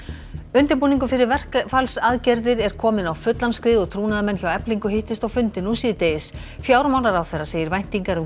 undirbúningur fyrir verkfallsaðgerðir er kominn á fullan skrið og trúnaðarmenn hjá Eflingu hittust á fundi nú síðdegis fjármálaráðherra segir væntingar um